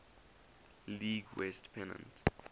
league west pennant